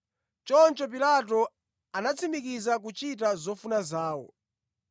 Choncho Pilato anatsimikiza kuchita zofuna zawozo.